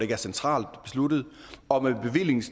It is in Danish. er centralt besluttet og med